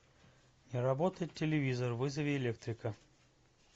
не работает телевизор вызови электрика